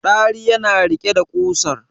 Dari yana riƙe da kusan